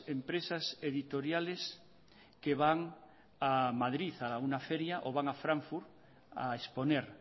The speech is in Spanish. empresas editoriales que van a madrid a una feria o van a frankfurt a exponer